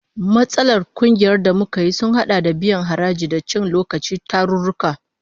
Matsalar kungiyar da muka yi sun hada da biyan haraji, da cin lokacin tarurruka